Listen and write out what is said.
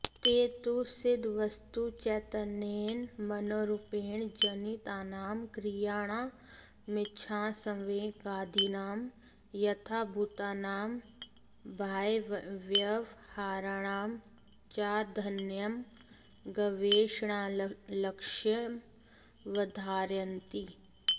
ते तु सिद्धवस्तुचैतन्येन मनोरूपेण जनितानां क्रियाणामिच्छासंवेगादीनां यथाभूतानां बाह्यव्यवहाराणां चाध्ययनं गवेषणालक्ष्यमवधारयन्ति